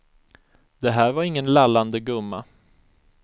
Det här var ingen lallande gumma.